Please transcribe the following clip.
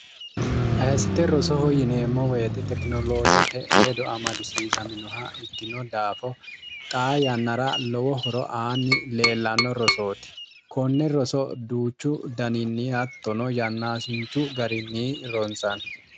ahessite rosoho yineemmo woyite tekinoloojete ledo amadisiisaminoha ikkino daafo xaa yannara lowo horo aanni leellanno rosooti konne roso duuchu daniinni attono yannaasinchu garinni rontsanni